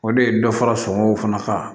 O de ye dɔ fara sɔngɔw fana kan